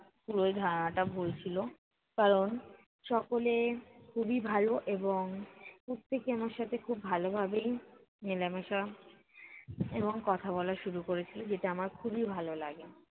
পুরো ধারণাটা ভুল ছিলো। কারণ সকলে খুবই ভালো এবং প্রত্যেকে আমার সাথে খুব ভালো ভাবেই মেলামেশা এবং কথা বলা শুরু করেছিলো, যেটা আমার যেটা আমার খুবই ভালো লাগে।